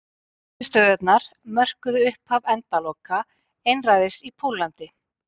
Niðurstöðurnar mörkuðu upphaf endaloka einræðis í Póllandi.